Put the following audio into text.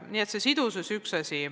Nii et see sidusus on üks asi.